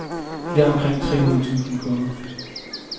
De har omkring tre hundrede tusind kunder.